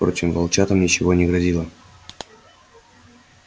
впрочем волчатам ничего не грозило